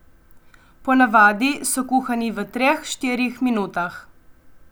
Po navadi so kuhani v treh, štirih minutah.